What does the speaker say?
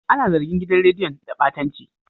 An zargi gidan rediyon da batanci.